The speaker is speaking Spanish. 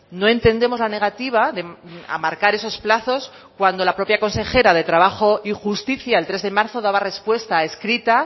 no entendemos la negativa a marcar esos plazos cuando la propia consejera de trabajo y justicia el tres de marzo daba respuesta escrita